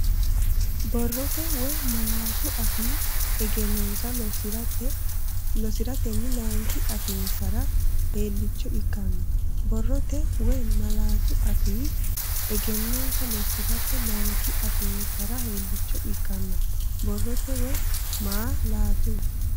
Borrote(ma- laatu afii) egennonsa lossi’ratenni layinki afiinsara heelliicho ikkanno Borrote(ma- laatu afii) egennonsa lossi’ratenni layinki afiinsara heelliicho ikkanno Borrote(ma- laatu.